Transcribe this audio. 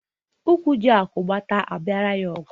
Ụkwụ ji agụ, mgbada a biara ya ọgụ